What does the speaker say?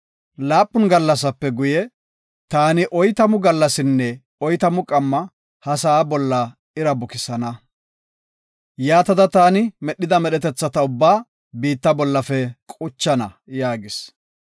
Laapun gallasape guye, taani oytamu gallasinne oytamu qamma ha sa7aa bolla ira bukisana. Yaatada taani medhida medhetetha ubbaa biitta bollafe quchana” yaagis.